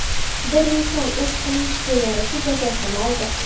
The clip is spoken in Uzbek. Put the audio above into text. Bir inson o‘z qilmishiga yarasha jazosini oldi.